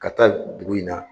Ka taa dugu in na